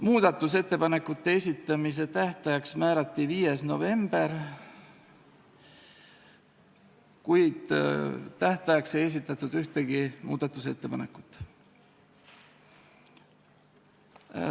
Muudatusettepanekute esitamise tähtajaks määrati 5. november, kuid tähtajaks ei esitatud ühtegi muudatusettepanekut.